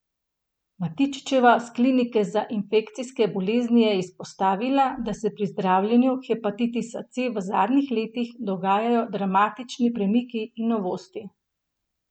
Matičičeva s klinike za infekcijske bolezni je izpostavila, da se pri zdravljenju hepatitisa C v zadnjih letih dogajajo dramatični premiki in novosti.